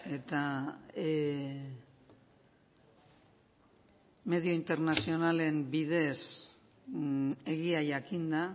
eta medio internazionalen bidez egia jakinda